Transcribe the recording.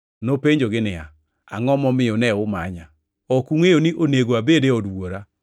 Nopenjogi niya, “Angʼo momiyo ne umanya? Ok ungʼeyo ni onego abed e od wuora?”